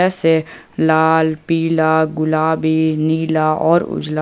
इसे लाल पीला गुलाबी नीला और उजला--